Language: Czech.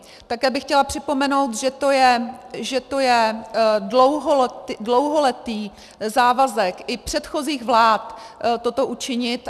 Také bych chtěla připomenout, že to je dlouholetý závazek i předchozích vlád toto učinit.